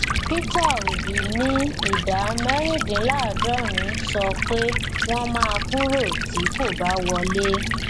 peter obi ní ìdá mẹrindínláàdọrin sọ pé wọn máa kúrò tí kò bá wọlé